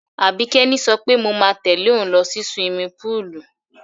Àbíkẹ́ ni sọ pé mo máa tẹ̀lé òun lọ sí siwimi púùlù.